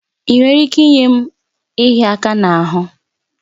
Ị nwere ike inye m ịhịa aka n'ahụ?